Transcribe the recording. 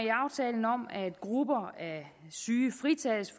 grupper af syge fritages